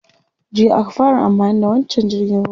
Jiya aka fara amfani da wancan jirgin ruwa.